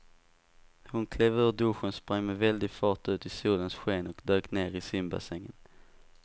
Hon klev ur duschen, sprang med väldig fart ut i solens sken och dök ner i simbassängen.